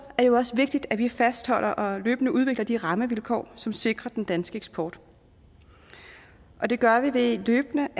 det jo også vigtigt at vi fastholder og løbende udvikler de rammevilkår som sikrer den danske eksport og det gør vi ved løbende